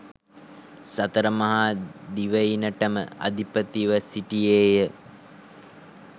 සතර මහා දිවයිනටම අධිපතිව සිටියේය.